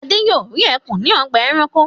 Adé yóò rí ẹkùn ní ọgbà-ẹranko.